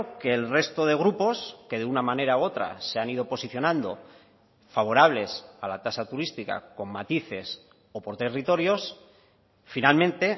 que el resto de grupos que de una manera u otra se han ido posicionando favorables a la tasa turística con matices o por territorios finalmente